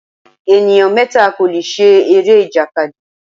Ènìyàn mẹ́ta kò lè ṣe eré-ìjàkadì.